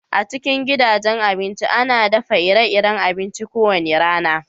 A cikin gidajen abinci, ana daffa ire-iren abinci ko wani rana.